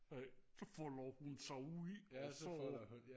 så folder hun sig ud og så